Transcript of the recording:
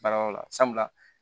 Baarayɔrɔ la sabula